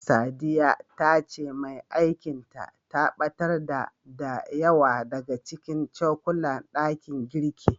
Sadiya ta ce mai aikin ta, ta ɓatar da, da yawa daga cikin cokulan ɗakin girkin.